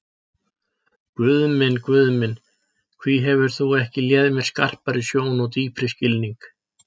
Guð minn, Guð minn, hví hefur þú ekki léð mér skarpari sjón og dýpri skilning?